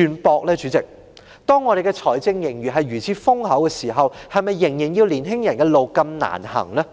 本港財政盈餘現時如此豐厚，為何仍要年青人走如此艱難的